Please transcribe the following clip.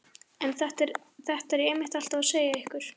En þetta er ég einmitt alltaf að segja ykkur.